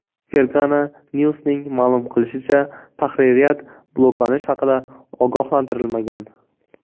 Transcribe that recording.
Fergana News’ning ma’lum qilishicha, tahririyat bloklanish haqida ogohlantirilmagan.